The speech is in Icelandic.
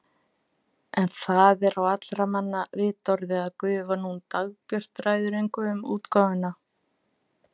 En það er á allra manna vitorði að gufan hún Dagbjört ræður engu um útgáfuna.